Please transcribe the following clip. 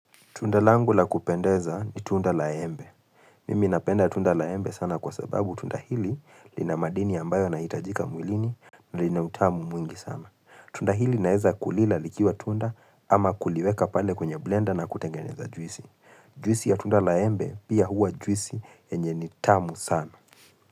Tunda langu la kupendeza ni tunda la embe. Mimi napenda tunda la embe sana kwa sababu tunda hili lina madini ambayo na hitajika mwilini na lina utamu mwingi sana. Tunda hili naeza kulila likiwa tunda ama kuliweka pale kwenye blender na kutengeneza juisi. Juisi ya tunda la embe pia huwa juisi enye ni tamu sana.